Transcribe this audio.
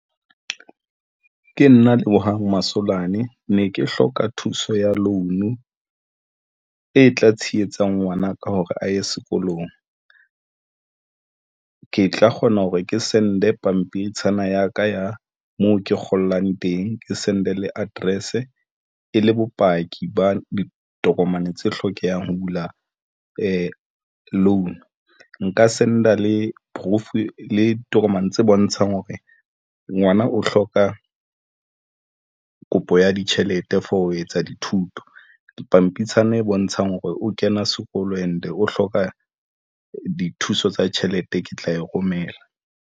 Ke nna Lebohang Masolane ne ke hloka thuso ya loan e tla tshehetsang ngwanaka hore a ye sekolong. Ke tla kgona hore ke send-e pampitshana ya ka ya moo ke kgolang teng, ke send-e le address e le bopaki ba ditokomane tse hlokehang ho bula le loan nka send-a le proof le ditokomane tse bontshang hore ngwana o hloka a kopo ya ditjhelete for ho etsa dithuto dipampitshana e bontshang hore o kena sekolo and o hloka dithuso tsa tjhelete. Ke tla e romela.